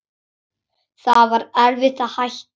Það var erfitt að hætta.